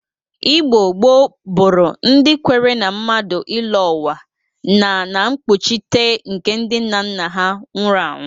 Igbo gboo bụrụ ndị kwere na mmadụ ịlọ ụwa na na mkpụchịte nke ndị nnanna ha nwụrụ anwụ